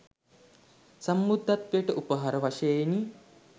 සම්බුද්ධත්වයට උපහාර වශයෙනි